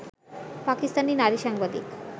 পাকিস্তানি নারী সাংবাদিক